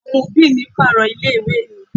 Àwọn òbí mi pààrọ̀ ilé ìwé mi.